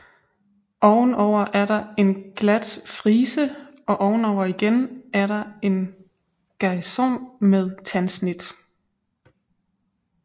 Ovenover er der en glat frise og ovenover igen er der en geison med tandsnit